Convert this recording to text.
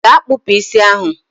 gaa kpụpụ isi ahụ!